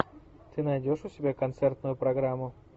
ты найдешь у себя концертную программу